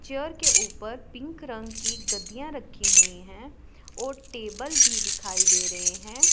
Chair के ऊपर pink रंग की गद्दियाँ रखी हुई हैं और टेबल भी दिखाई दे रहे हैं।